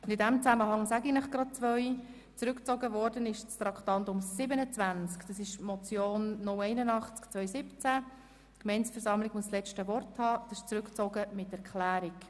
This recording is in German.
In diesem Zusammenhang kann ich Ihnen gleich mitteilen, dass Traktandum 27, die Motion 0812017 Köpfli (Bern, glp) «Die Gemeindeversammlung muss das letzte Wort haben», mit Erklärung zurückgezogen wird.